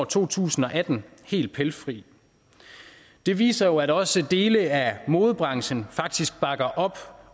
to tusind og atten helt pelsfri det viser at også dele af modebranchen faktisk bakker op